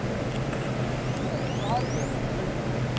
બરાબર તો તો સારું કેવાય લ્યા જોરદાર કેવાય.